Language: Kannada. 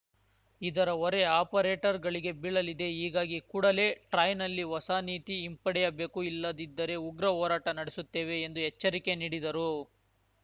ಇದರ ಹೊರೆ ಆಪರೇಟರ್‌ಗಳಿಗೆ ಬೀಳಲಿದೆ ಹೀಗಾಗಿ ಕೂಡಲೇ ಟ್ರಾಯ್‌ನಲ್ಲಿ ಹೊಸ ನೀತಿ ಹಿಂಪಡೆಯಬೇಕು ಇಲ್ಲದಿದ್ದರೆ ಉಗ್ರ ಹೋರಾಟ ನಡೆಸುತ್ತೇವೆ ಎಂದು ಎಚ್ಚರಿಕೆ ನೀಡಿದರು